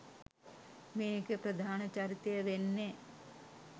මේකෙ ප්‍රධාන චරිතය වෙන්නෙ